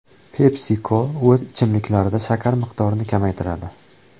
PepsiCo o‘z ichimliklarida shakar miqdorini kamaytiradi.